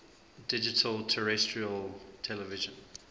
digital terrestrial television